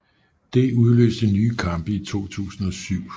Det udløste nye kampe i 2007